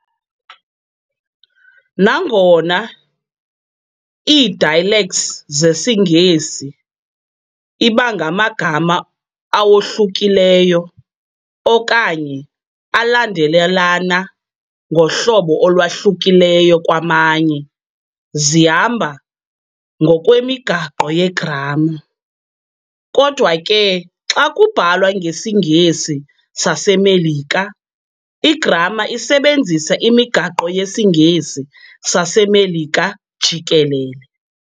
Nangona ii-dialects zesiNgesi ibangamagama awohlukileyo okanye alandelelana ngohlobo olwahlukileyo kwamanye, zihamba ngokwemigaqo yegramma. kodwa ke xa kubhalwa ngesiNgesi saseMelika, igramma isebenzisa imigaqo yesiNgesi saseMelika jikelele.